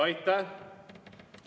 Aitäh!